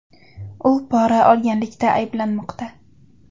U pora olganlikda ayblanmoqda.